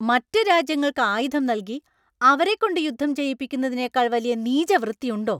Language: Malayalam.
മറ്റ് രാജ്യങ്ങൾക്ക് ആയുധം നൽകി അവരെക്കൊണ്ട് യുദ്ധം ചെയ്യിപ്പിക്കുന്നതിനേക്കാൾ വലിയ നീചവൃത്തിയുണ്ടോ?